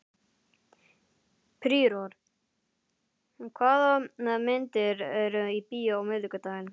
Príor, hvaða myndir eru í bíó á miðvikudaginn?